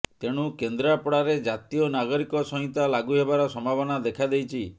ତେଣୁ କେନ୍ଦ୍ରପଡାରେ ଜାତୀୟ ନାଗରିକ ସଂହିତା ଲାଗୁ ହେବାର ସମ୍ଭାବନା ଦେଖାଦେଇଛି